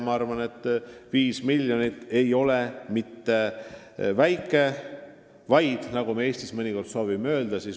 Ma arvan, et 5 miljonit ei ole mitte väike summa, nagu me siin Eestis mõnikord soovime väita.